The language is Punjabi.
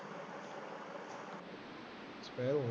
ਓਹੋ